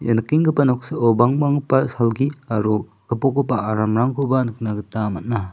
ia nikenggipa noksao bangbanggipa salgi aro gipokgipa aramrangkoba nikna gita man·a.